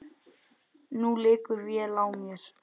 Nú liggur vél á mér